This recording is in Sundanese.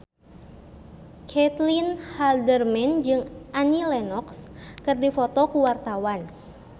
Caitlin Halderman jeung Annie Lenox keur dipoto ku wartawan